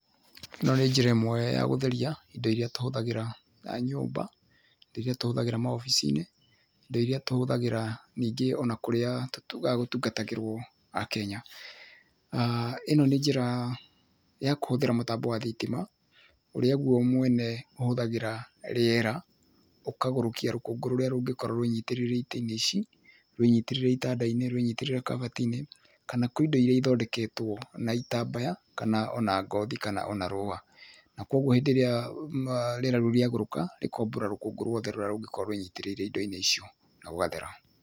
Ĩno nĩ njĩra ĩmwe ya gũteria indo ĩria tũhũthagĩra ta nyũmba rĩria tũhũthagĩra mawobici-inĩ, indo ĩria tũhũthagĩra ningĩ ona ta kũria gũtungatagĩrwo akenya ĩno nĩ njĩra ya kũhũthĩra thitima uria gũo we mwene ũhũthagĩra thitima ũgagũrũkia rũkũngũ rũria rũngĩkorwo rũnyitĩrĩire itĩinĩ ici rwĩnyitĩrĩire itandainĩ rwĩnyitĩrĩire kabatiinĩ kana kwĩ indo iria ithondeketwo na itambaya kana ona ngothi kana ona rũa, na kogũo hĩndĩ ĩria rĩera rĩu rĩa gũrũka rĩ kombororoka rũkũngũ ruothe rũria rũngĩkorwo rwĩnyitĩrĩire indoinĩ icio na gũgathera.